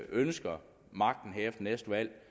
ønsker magten her efter næste valg